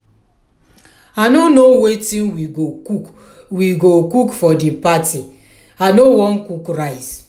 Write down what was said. i no know wetin we go cook we go cook for the party. i no wan cook rice.